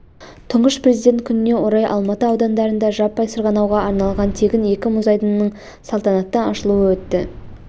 тұңғыш президент күніне орай алматы аудандарында жаппай сырғанауға арналған тегін екі мұз айдынының салтанатты ашылуы өтті